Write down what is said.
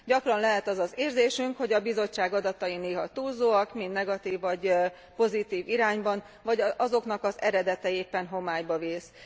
Gyakran lehet az az érzésünk, hogy a Bizottság adatai néha túlzóak, mind negatív vagy pozitív irányban, vagy azoknak az eredete éppen homályba vész.